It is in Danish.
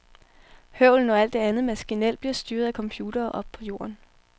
Høvlen og alt det andet maskinel bliver styret af computere oppe på jorden.